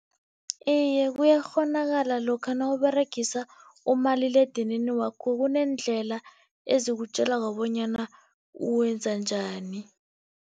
Iye, kuyakghonakala. Lokha nawuberegisa umaliledinini wakho kuneendlela ezikutjelako bonyana uwenza njani.